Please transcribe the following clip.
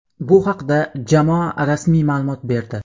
Bu haqda jamoa rasmiy ma’lumot berdi.